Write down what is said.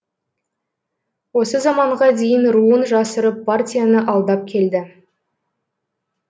осы заманға дейін руын жасырып партияны алдап келді